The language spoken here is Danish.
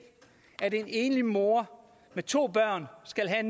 at en enlig mor med to børn skal have